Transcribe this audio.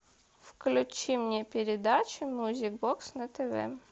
включи мне передачу мьюзик бокс на тв